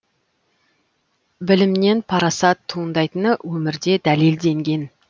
білімнен парасат туындайтыны өмірде дәлелденген